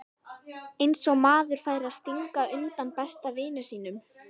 Eins og maður færi að stinga undan besta vini sínum!